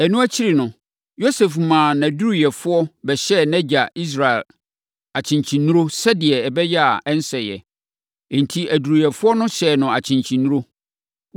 Ɛno akyiri no, Yosef maa nʼaduruyɛfoɔ bɛhyɛɛ nʼagya Israel akyenkyennuro, sɛdeɛ ɛbɛyɛ a, ɔrensɛe. Enti, aduroyɛfoɔ no hyɛɛ no akyenkyennuro.